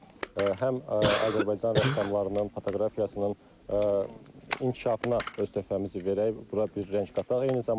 Və həm Azərbaycan rəssamlarının fotoqrafiyasının inkişafına öz töhfəmizi verək, bura bir rəng qataq.